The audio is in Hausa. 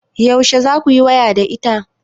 Yaushe za kuyi waya da ita?